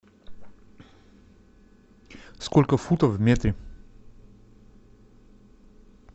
сколько футов в метре